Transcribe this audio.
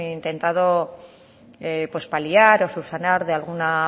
intentado paliar o subsanar de alguna